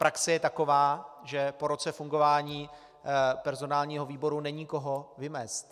Praxe je taková, že po roce fungování personálního výboru není koho vymést.